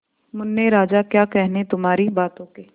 मुन्ने राजा क्या कहने तुम्हारी बातों के